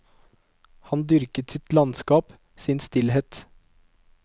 Han dyrker sitt landskap, sin stillhet.